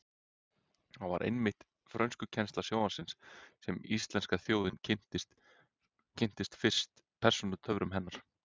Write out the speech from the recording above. Það var einmitt í frönskukennslu sjónvarpsins sem íslenska þjóðin kynntist fyrst persónutöfrum hennar.